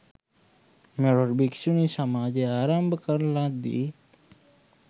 මෙරට භික්‍ෂුණී සමාජය ආරම්භ කරන ලද්දේ